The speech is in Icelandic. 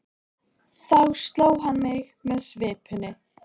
Þá sló hann mig með svipunni.